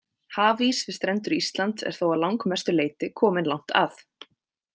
Hafís við strendur Íslands er þó að langmestu leyti kominn langt að.